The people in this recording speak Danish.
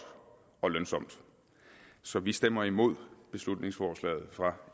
og lønsomt så vi stemmer imod beslutningsforslaget fra